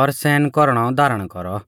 और सहनकौरनौ धारण कौरौ